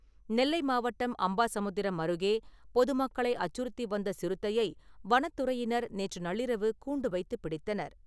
நெல்லை மாவட்டம் அம்பாசமுத்திரம் அருகே பொது மக்களை அச்சுறுத்தி வந்த சிறுத்தையை வனத் துறையினர் நேற்று நள்ளிரவு கூண்டு வைத்துப் பிடித்தனர்.